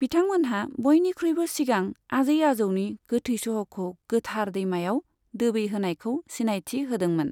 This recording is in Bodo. बिथांमोनहा बयनिख्रुयबो सिगां आजै आजौनि गोथै सह'खौ गोथार दैमायाव दोबै होनायखौ सिनायथि होदोंमोन।